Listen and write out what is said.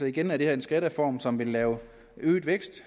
igen er det her en skattereform som vil lave øget vækst